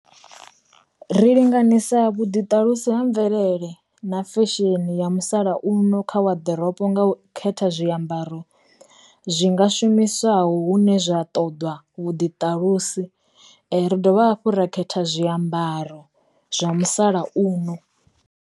Ri linganisa vhu ḓi ṱalusi ha mvelele na fesheni ya musalauno kha wa ḓorobo nga u khetha zwiambaro zwi nga shumiswaho hune zwa ṱoḓwa vhuḓi ṱalusi, ri dovha hafhu ra khetha zwiambaro zwa musalauno.